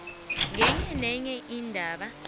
ngenye nenye indaba